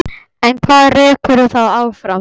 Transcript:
En hvað rekur þá áfram?